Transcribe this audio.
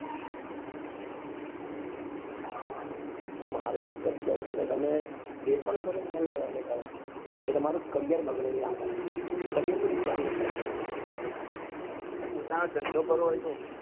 હા મારું તો એક જ કેવું છે કે તમે જે પણ કરો એ મન લગાવી ને કરો તો તમારું career બગાડે નહિ આગળ career વિચારી ને કરો આગળ